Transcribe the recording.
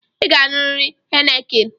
ị ga-aṅurịrị heineken